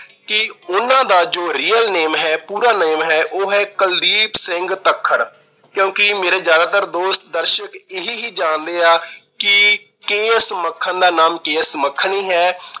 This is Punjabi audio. ਕਿ ਉਹਨਾਂ ਦਾ ਜੋ real name ਹੈ, ਪੂਰਾ name ਹੈ- ਉਹ ਹੈ ਕੁਲਦੀਪ ਸਿੰਘ ਤੱਖਰ ਕਿਉਂਕਿ ਮੇਰੇ ਜਿਆਦਾਤਰ ਦੋਸਤ, ਦਰਸ਼ਕ ਇਹੀ ਹੀ ਜਾਣਦੇ ਆ ਕਿ ਕੇ. ਐਸ. ਮੱਖਣ ਦਾ ਨਾਮ ਕੇ. ਐਸ. ਮੱਖਣ ਹੀ ਹੈ।